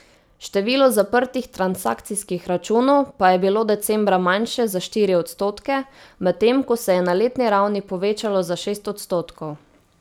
Število zaprtih transakcijskih računov pa je bilo decembra manjše za štiri odstotke, medtem ko se je na letni ravni povečalo za šest odstotkov.